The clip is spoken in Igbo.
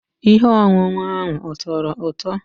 Ihe ọṅụṅụ ahụ ọ tọrọ ụtọ?